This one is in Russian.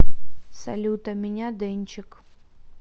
салют а меня дэнчик